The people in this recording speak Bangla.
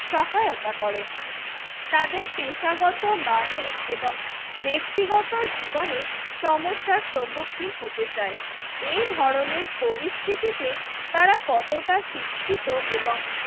সহায়তা করে। তাদের পেশাগত মানুষ এবং ব্যক্তিগত জীবনে সমস্যার সম্মুখীন হতে চায়। এই ধরনের পরিস্থিতিতে তারা কতটা শিক্ষিত এবং